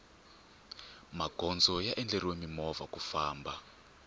magondzo ya endleriwe mimovha ku famna